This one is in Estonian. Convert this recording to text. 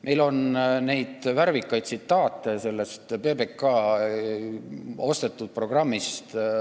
Meil on päris palju värvikaid tsitaate sellest PBK ostetud programmist.